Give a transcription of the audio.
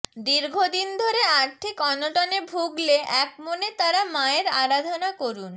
দীর্ঘদিন ধরে আর্থিক অনটনে ভুগলে এক মনে তারা মায়ের আরাধনা করুন